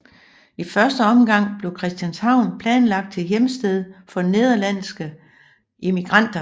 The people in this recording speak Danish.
I første omgang blev Christianshavn planlagt til hjemsted for nederlandske immigranter